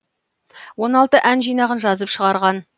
он алты ән жинағын жазып шығарған